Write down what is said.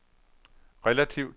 relativt